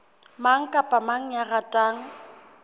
mang kapa mang ya ratang